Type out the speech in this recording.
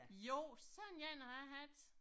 Jo, sådan en har jeg haft